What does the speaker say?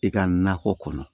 I ka nakɔ kɔnɔ